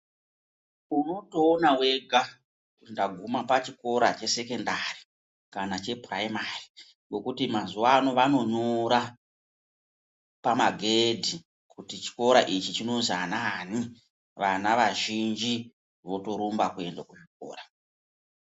Unotopaona wega kuti ndaguma pachikora chesekondari kana kuti chepuraimari ngekuti mazuwa ano vanonyora pamagedhi kuti chikora ichi chinozwi anaani. Vana vazhinji votorumba kuenda kuchikora.